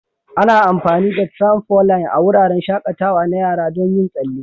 Ana amfani da tramfoline a wuraren shakatawa na yara don yin tsalle.